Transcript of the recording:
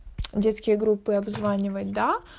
детские группы обзванивать да